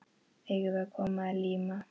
Eigum við að koma að líma?